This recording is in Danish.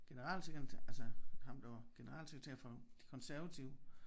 General altså ham der var generalsekretær for de konservative